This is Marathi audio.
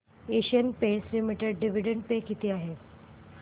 Asian Paints limited dividend pay किती आहे